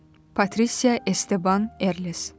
Patricia Esteban Erles.